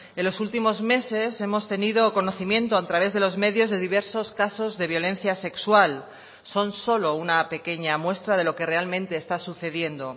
en los últimos meses hemos tenido conocimiento a través de los medios de diversos casos de violencia sexual son solo una pequeña muestra de lo que realmente está sucediendo